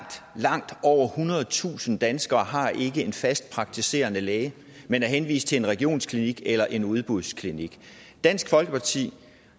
langt over ethundredetusind danskere har ikke en fast praktiserende læge men er henvist til en regionsklinik eller en udbudsklinik dansk folkeparti